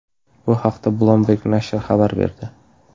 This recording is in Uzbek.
Bu haqda Bloomberg nashri xabar berdi .